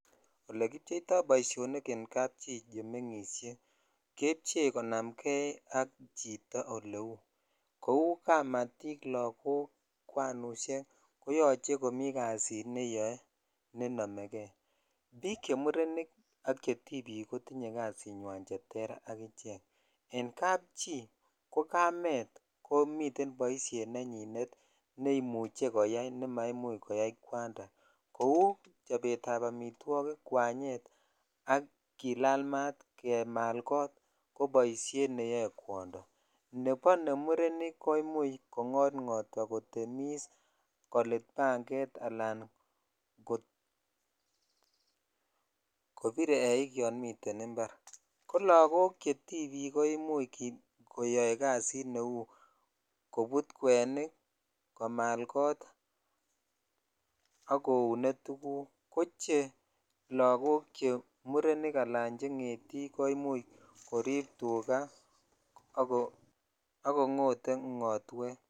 Olekipcheito boisionik en kapchi chemengishe kepchee konam kee ak chito eleu kamatik, lagok ,kwanushek koyoche komi kasit neyoe nenome kee bik chemurenik ak chetibik kotinyee kasinywan cheterter, en kapchi kokamen komi komiten boishet neyoe neimuche koyai nemaimuch koyai kwanda kou chopetab omitwogik kwanyet, ak kilal maat, kemal kot koboishet neyoe kwondo nebo nemurenik koimuch kongot ngotwa, kotemis, kolit panget alan kobir eik yon miten imbar kolagok chetibik koimuch koyoe kazit neu kobut kwenik, komal kot, ok koune tuguk koche lagok chemurenik alan che ngetik koimuch korib tugaa ak kongote ngotwet.